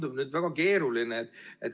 See tundub väga keeruline.